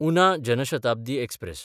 Una Jan Shatabdi express